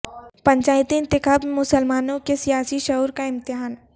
پنچایتی انتخاب میں مسلمانوں کے سیاسی شعور کا امتحان